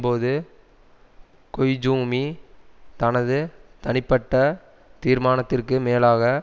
போது கொய்ஜூமி தனது தனிப்பட்ட தீர்மானத்திற்கு மேலாக